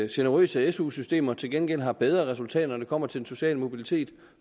generøse su systemer til gengæld har bedre resultater når det kommer til den sociale mobilitet